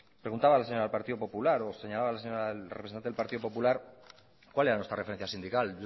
preguntaba la señora del partido popular o señalaba la señora representante del partido popular cuál era nuestra referencia sindical